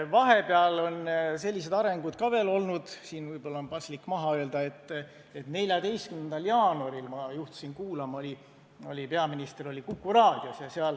Vahepeal on sellised arengud ka veel olnud – siin võib-olla on see paslik öelda –, et 14. jaanuaril ma juhtusin kuulma, et peaminister oli Kuku raadios.